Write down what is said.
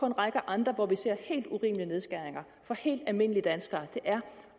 en række andre hvor vi ser helt urimelige nedskæringer for helt almindelige danskere er